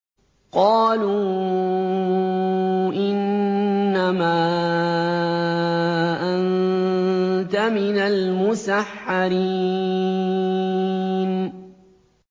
قَالُوا إِنَّمَا أَنتَ مِنَ الْمُسَحَّرِينَ